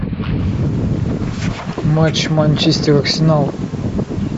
матч манчестер арсенал